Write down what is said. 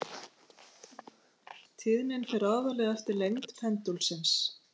Tíðnin fer aðallega eftir lengd pendúlsins.